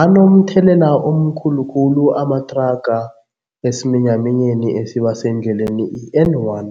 Anomthelela omkhulu khulu amathraga esiminyaminyeni esiba sendleleni i-N one,